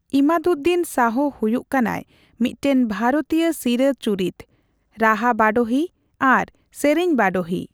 ᱤᱢᱟᱫᱩᱫᱽᱫᱤᱱ ᱥᱟᱦᱚ ᱦᱚᱭᱩᱜ ᱠᱟᱱᱟᱭ ᱢᱤᱫᱴᱟᱝ ᱵᱷᱟᱨᱚᱛᱤᱭᱚ ᱥᱤᱨᱟᱹ ᱪᱩᱨᱤᱛ, ᱨᱟᱦᱟ ᱵᱟᱰᱳᱦᱤ ᱟᱨ ᱥᱮᱨᱮᱧ ᱵᱟᱰᱳᱦᱤ ᱾